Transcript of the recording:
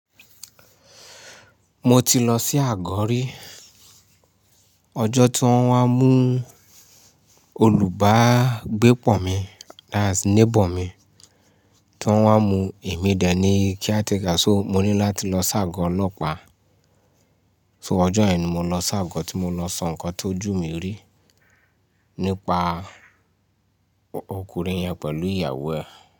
Mo ti lọ sí àgọ̀ rí. Ọjọ́ tí wọ́n wá mú olùbágbépọ̀ mi that's neighbour mi, tí wọ́n wá mú emí dẹ̀ ní kíá tí ká, so mo ní láti lọ s'àgọ́ ọlọ́pàá. So ọjọ́ ẹni mo lọ s'àgọ́ tí mo lọ sọ nǹkan tó ju mi rí nípa ọkùnrin yẹn pẹ̀lú ìyàwó ẹ̀.